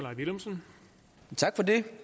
ikke